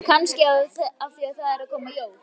Kannski af því að það eru að koma jól.